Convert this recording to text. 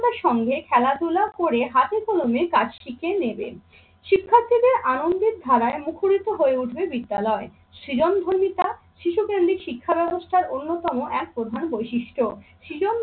তার সঙ্গে খেলাধুলা করে হাতে কলমে কাজটিকে নেবেন। শিক্ষার্থীদের আনন্দের ধারায় মুখরিত হয়ে ওঠবে বিদ্যালয়। সৃজনধর্মিতা শিশু কেন্দ্রিক শিক্ষা ব্যবস্থার অন্যতম এক প্রধান বৈশিষ্ট্য। সৃজন